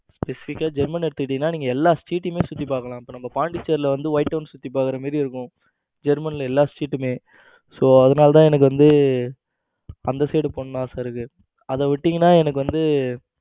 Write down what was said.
Specific க்கா நீங்க german எடுத்துக்கிட்டீங்கன்னா நீங்க எல்லா street டும் சுத்தி பார்க்கலாம். இப்ப நம்ம பாண்டிச்சேரில வந்து white down சுத்தி பார்க்கிற மாதிரி இருக்கும். ஜெர்மன்ல எல்லா street மே so அதனால தான் எனக்கு வந்து அந்த side போகணும்னு ஆசை இருக்கு அத விட்டீங்கன்னா எனக்கு வந்து